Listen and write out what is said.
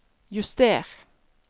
juster